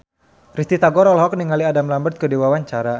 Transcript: Risty Tagor olohok ningali Adam Lambert keur diwawancara